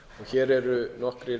hér eru nokkrir